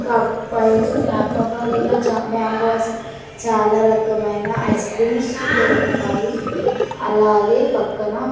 కప్పై స్ choco bar ఇలా చా మ్యాంగోస్ ఐస్ చాలా రకమైన ఐస్ క్రీమ్స్ దొరుకుతాయి అలాగే పక్కన--